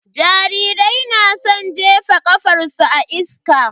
Jarirai na san jefa ƙafarsu a iska.